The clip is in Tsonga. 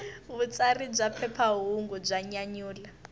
vutsari bya phephahungu bya nyanyula